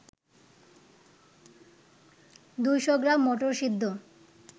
২০০ gram মটরসিদ্ধ